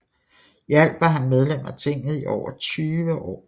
I alt var han medlem af tinget i over 20 år